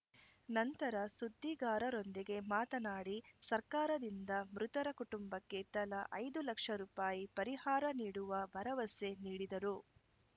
ನಂತರ ಸುದ್ದಿಗಾರರೊಂದಿಗೆ ಮಾತನಾಡಿ ಸರ್ಕಾರದಿಂದ ಮೃತರ ಕುಟುಂಬಕ್ಕೆ ತಲಾ ಐದು ಲಕ್ಷ ರೂಪಾಯಿ ಪರಿಹಾರ ನೀಡುವ ಭರವಸೆ ನೀಡಿದರು